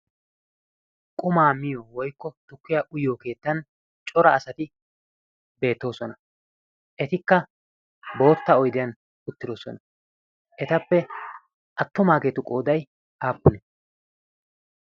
qumaa miyo woykko tukkiya uyyo keettan cora asati beettoosona etikka bootta oydiyan uttidosona etappe attomaageetu qooday aappune